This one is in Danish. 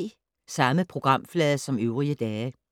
Samme programflade som øvrige dage